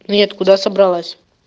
нет куда собралась